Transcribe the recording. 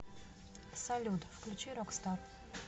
салют включи рокстар